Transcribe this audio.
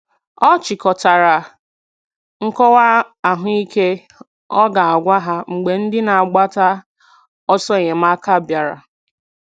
Ọ chịkọtara nkọwa ahụ ike ọ ga - agwa ha mgbe ndị na - agbata ọsọ enyemaka bịara